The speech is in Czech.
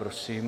Prosím.